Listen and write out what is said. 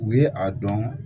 U ye a dɔn